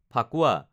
Phakuwa